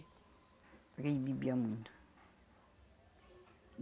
Porque ele bebia muito.